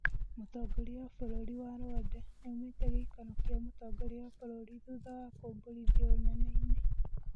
Mũtongoria wa bũrũri wa Rwanda nĩaumĩte gĩikaro kĩa mũtongoria wa bũrũri thutha wa kumbũrithio ũneneinĩ.